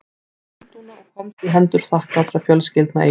Var féð sent til Lundúna og komst í hendur þakklátra fjölskyldna í